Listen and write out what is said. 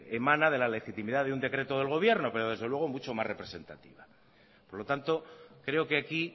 emana de la legitimidad de un decreto del gobierno pero desde luego mucho más representativa por lo tanto creo que aquí